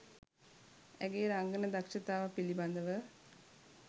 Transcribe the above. ඇගේ රංගන දක්ෂතාව පිළිබඳව